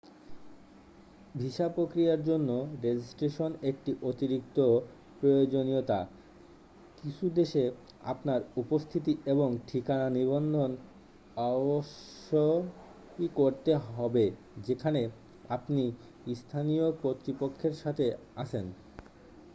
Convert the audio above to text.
visa প্রক্রিয়ার জন্য registration একটি অতিরিক্ত প্রয়োজনীয়তা কিছু দেশে আপনার উপস্থিতি এবং ঠিকানা নিবন্ধন অবশ্যই করতে হবে যেখানে আপনি স্থানীয় কর্তৃপক্ষের সাথে আছেন